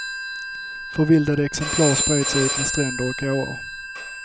Förvildade exemplar spred sig utmed stränder och åar.